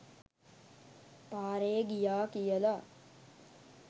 පාරෙ ගියා කියලා